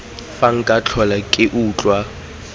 fa nka tlhola ke utlwa